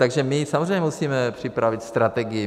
Takže my samozřejmě musíme připravit strategii.